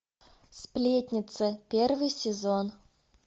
сплетница первый сезон